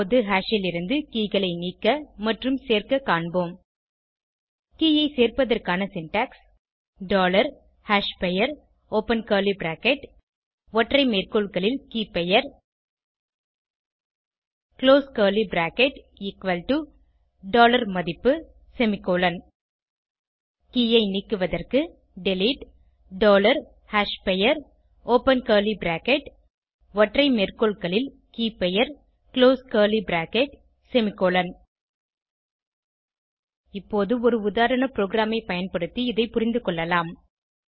இப்போது ஹாஷ் லிருந்து keyகளை நீக்க மற்றும் சேர்க்க காண்போம் கே ஐ சேர்ப்பதற்கான சின்டாக்ஸ் டாலர் hashபெயர் ஒப்பன் கர்லி பிராக்கெட் ஒற்றை மேற்கோள்களில் Keyபெயர் close curly bracket equal to மதிப்பு செமிகோலன் கே ஐ நீக்குவதற்கு டிலீட் டாலர் hashபெயர் ஒப்பன் கர்லி பிராக்கெட் ஒற்றை மேற்கோள்களில் Keyபெயர் குளோஸ் கர்லி பிராக்கெட் செமிகோலன் இப்போது ஒரு உதாரண ப்ரோகிராமை பயன்படுத்தி இதை புரிந்துகொள்ளலாம்